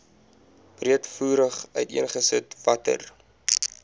breedvoerig uiteengesit watter